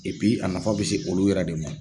a nafa bɛ se olu yɛrɛ de ma.